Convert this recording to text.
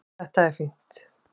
Þetta er fínt.